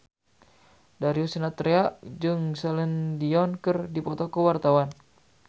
Darius Sinathrya jeung Celine Dion keur dipoto ku wartawan